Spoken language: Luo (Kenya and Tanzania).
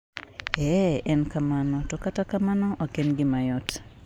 Ee, en kamano, to kata kamano ok en gima yot.